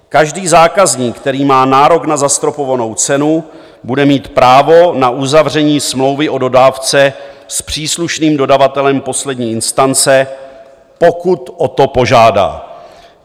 Každý zákazník, který má nárok na zastropovanou cenu, bude mít právo na uzavření smlouvy o dodávce s příslušným dodavatelem poslední instance, pokud o to požádá.